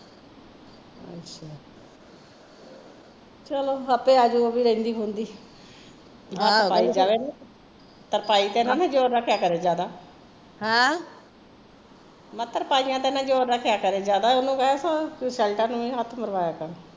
ਚਲੋ ਆਪੀ ਆਜੁ ਓਹ ਵੀ ਰਹਿੰਦੀ ਖੁਦੀ ਤਰਪਾਈ ਤੇ ਨਾ ਜੋਰ ਰੱਖਿਆ ਕਰੇ ਜਿਆਦਾ ਮੈਂ ਕਿਹਾ ਤਰਪਾਈਂਆ ਤੇ ਨਾ ਜ਼ੋਰ ਰੱਖਿਆ ਕਰ ਜਿਆਦਾ ਓਹਨੂ ਕਹਿ ਸ਼ਰਟਾਂ ਨੂੰ ਹੱਥ ਮਰਵਾਇਆ ਕਰ